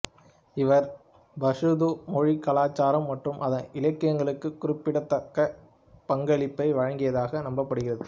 இவர் பஷ்தூ மொழி கலாச்சாரம் மற்றும் அதன் இலக்கியங்களுக்கு குறிப்பிடத்தக்க பங்களிப்பை வழங்கியதாக நம்பப்படுகிறது